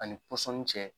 Ani pɔsɔni cɛ